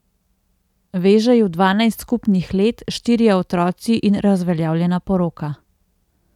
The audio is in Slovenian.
Veže ju dvanajst skupnih let, štirje otroci in razveljavljena poroka.